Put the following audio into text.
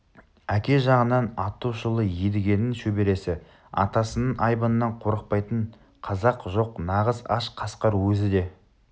әке жағынан аты шулы едігенің шөбересі атасының айбынынан қорықпайтын қазақ жоқ нағыз аш қасқыр өзі де